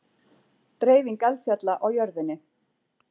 Dreifing eldfjalla á jörðinni